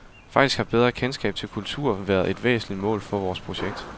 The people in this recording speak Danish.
Faktisk har bedre kendskab til kultur været et væsentligt mål for vores projekt.